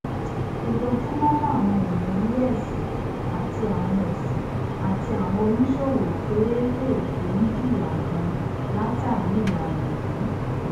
ojoojúmọ làwọn èèyàn ilé ẹsìn àti àwọn ẹsìn àti àwọn oníṣòwò kéékèèké ń jìyà ganan látàrí ìlànà yìí